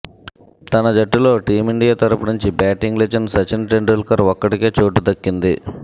తన జట్టులో టీమిండియా తరుపు నుంచి బ్యాటింగ్ లెజెండ్ సచిన్ టెండూల్కర్ ఒక్కడికే చోటు దక్కింది